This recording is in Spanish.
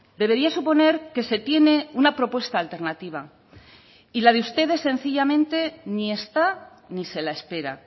debería suponer que se tiene una propuesta alternativa y la de ustedes sencillamente ni está ni se la espera